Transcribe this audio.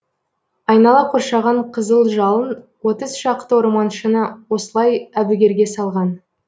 айнала қоршаған қызыл жалын отыз шақты орманшыны осылай әбігерге салған